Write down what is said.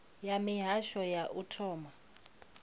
ya mihasho ya u thoma